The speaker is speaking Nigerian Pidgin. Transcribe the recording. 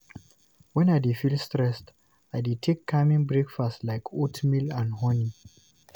When I dey feel stressed, I dey take calming breakfast like oatmeal and honey.